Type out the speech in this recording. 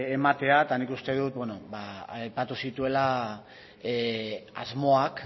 ematea ba nik uste dut aipatu zituela asmoak